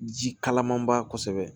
Ji kalamanba kosɛbɛ